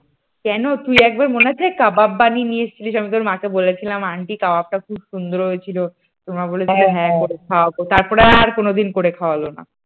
কেন তুই একবার মনে আছে তুই কাবাব বানিয়ে নিয়ে এসেছিলি, আমি তোর মাকে বলেছিলাম আন্টি কাবাব খুব সুন্দর হয়েছিল, তোর মা বলেছিল খাওয়াবো তারপর আর কোনদিন খাওয়ালো না।